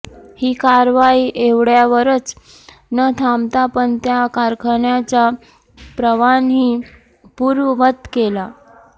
हि कारवाई एवढ्यावरच न थांबता पण त्या कारखान्याचा परवानाही पूर्ववत केला